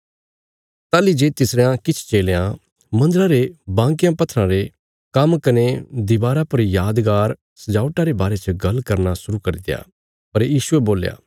ताहली जे तिसरयां किछ चेलयां मन्दरा रे बांकयां पत्थराँ रे काम्म कने दीवारा पर यादगार सजावटा रे बारे च गल करना शुरु करित्या पर यीशुये बोल्या